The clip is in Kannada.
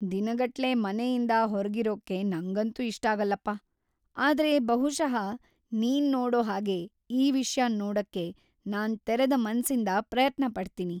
ದಿನಗಟ್ಲೆ ಮನೆಯಿಂದ ಹೊರಗಿರೋಕ್ಕೆ ನಂಗಂತೂ ಇಷ್ಟಾಗಲ್ಲಪ್ಪ, ಆದ್ರೆ ಬಹುಶಃ ನೀನ್‌ ನೋಡೋ ಹಾಗೆ‌ ಈ ವಿಷ್ಯನ್ ನೋಡಕ್ಕೆ ನಾನ್‌ ತೆರೆದ ಮನ್ಸಿಂದ ಪ್ರಯತ್ನ ಪಡ್ತೀನಿ.